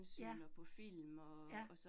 Ja. Ja